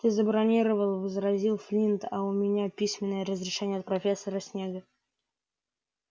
ты забронировал возразил флинт а у меня письменное разрешение от профессора снегга